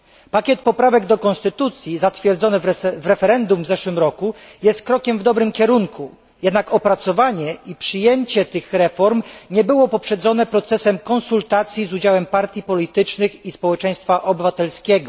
Pakiet poprawek do konstytucji zatwierdzony w referendum w ubiegłym roku jest krokiem w dobrym kierunku, jednak opracowanie i przyjęcie tych reform nie było poprzedzone procesem konsultacji z udziałem partii politycznych i społeczeństwa obywatelskiego.